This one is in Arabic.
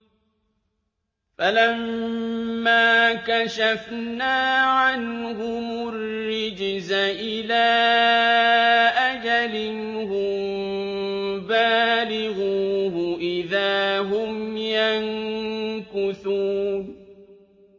فَلَمَّا كَشَفْنَا عَنْهُمُ الرِّجْزَ إِلَىٰ أَجَلٍ هُم بَالِغُوهُ إِذَا هُمْ يَنكُثُونَ